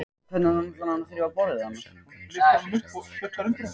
Tólfan vill að áhorfendur upplifi stemningu eins og á sér stað á Laugardalsvelli á leikdegi.